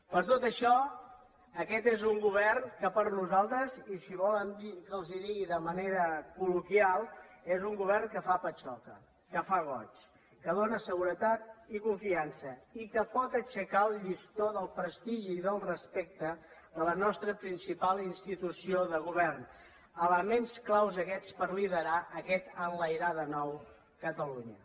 per tot això aquest és un govern que per nosaltres i si volen que els ho digui de manera col·loquial és un govern que fa patxoca que fa goig que dóna seguretat i confiança i que pot aixecar el llistó del prestigi i del respecte de la nostra principal institució de govern elements clau aquests per liderar aquest enlairar de nou catalunya